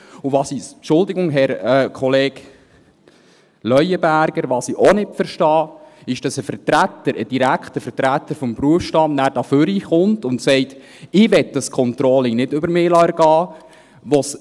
Und was uns ... Entschuldigung, Herr Kollege Leuenberger, was ich auch nicht verstehe, ist, dass ein direkter Vertreter des Berufsstands dann hier nach vorne kommt und sagt: «Ich möchte dieses Controlling nicht über mich ergehen lassen.»